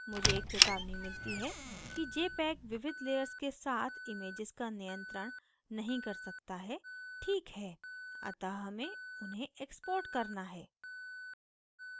मुझे एक चेतावनी मिलती है कि jpeg विविध layers के साथ images का नियंत्रण नहीं कर सकता है ठीक है अतः हमें उन्हें export करना है